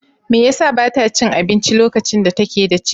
Me yasa ba ta cin abinci lokacin da take da ciki?